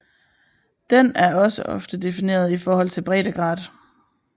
Den er også ofte defineret i forhold til breddegrad